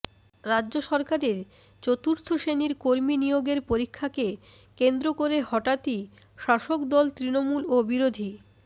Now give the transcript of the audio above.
রাজ্য সরকারের চতুর্থ শ্রেণির কর্মী নিয়োগের পরীক্ষাকে কেন্দ্র করে হঠাৎই শাসক দল তৃণমূল ও বিরোধী